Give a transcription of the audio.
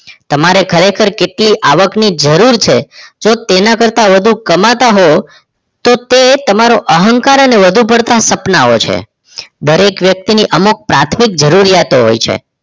તમારે ખરેખર કેટલી આવકની જરૂર છે તેના કરતાં વધુ કમાતા હોવ તો તે તમારો અહંકાર અને વધુ પડતા સપનાઓ છે દરેક વ્યક્તિ ની અમુક પ્રાથમિક જરૂરિયાતો હોય છે